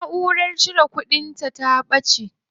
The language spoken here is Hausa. Naʼurara cire kudin ta ɓaci.